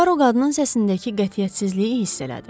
Puaro qadının səsinindəki qətiyyətsizliyi hiss elədi.